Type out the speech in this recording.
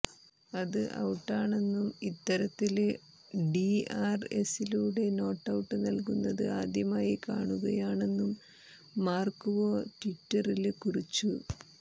അത് ഔട്ടാണെന്നും ഇത്തരത്തില് ഡിആര്എസിലൂടെ നോട്ടൌട്ട് നല്കുന്നത് ആദ്യമായി കാണുകയാണെന്നും മാര്ക്ക് വോ ട്വിറ്ററില് കുറിച്ചു